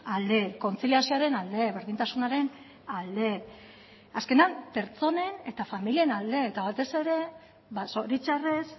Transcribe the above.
alde kontziliazioaren alde berdintasunaren alde azkenean pertsonen eta familien alde eta batez ere zoritxarrez